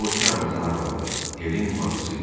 O Çarlzın arvadı Helin bacısı idi.